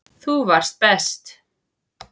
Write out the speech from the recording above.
Þú varst best.